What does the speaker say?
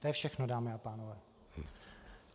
To je všechno, dámy a pánové.